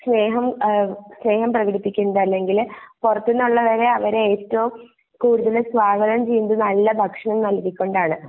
സ്നേഹം എഹ് സ്നേഹം പ്രേകടിപ്പിക്കുന്നത് അല്ലെങ്കില് പൊറത്തൂന്ന് ഉള്ളവരെ അവര് ഏറ്റോം കൂടുതൽ സ്വാഗതം ചെയ്യുന്നത് നല്ല ഭക്ഷണം നൽകി കൊണ്ട് ആണ്